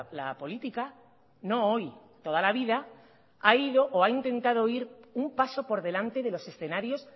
la política no hoy toda la vida ha ido o ha intentado ir un paso por delante de los escenarios